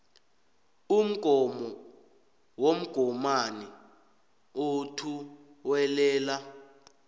umgomo womgomani othuwelela